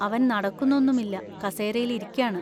അവൻ നടക്കുന്നൊന്നുമില്ല, കസേരയിൽ ഇരിക്കാണ്.